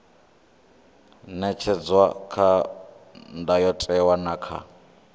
ṅetshedzwa kha ndayotewa na kha